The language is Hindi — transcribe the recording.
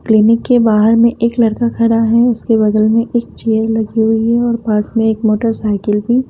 क्लीनिक के बाहर में एक लड़का खड़ा है उसके बगल में एक चेयर लगी हुई है और पास में एक मोटरसाइकिल भी--